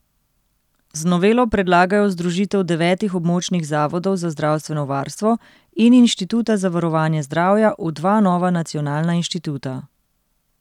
Z novelo predlagajo združitev devetih območnih zavodov za zdravstveno varstvo in Inštituta za varovanje zdravja v dva nova nacionalna inštituta.